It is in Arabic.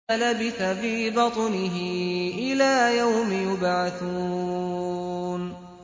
لَلَبِثَ فِي بَطْنِهِ إِلَىٰ يَوْمِ يُبْعَثُونَ